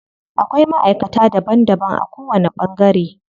Akwai maʼaikata daban daban a ko wani ɓangare.